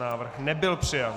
Návrh nebyl přijat.